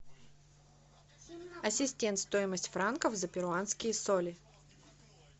ассистент стоимость франков за перуанские соли